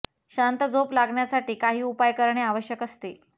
शांत झोप लागण्यासाठी काही उपाय करणे आवश्यक असते